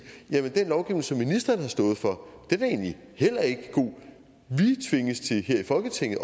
jamen den lovgivning som ministeren har stået for er egentlig heller ikke god vi tvinges også til her i folketinget